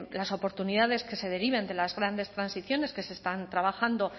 las oportunidades que se deriven de las grandes transiciones que se están trabajando